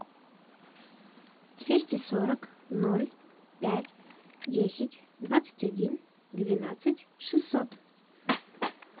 двести сорок ноль пять десять двадцать один двенадцать шестьсот